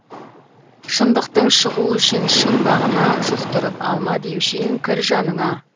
шындықтың шығу үшін шың бағына жұқтырып алма деуші ең кір жаныңа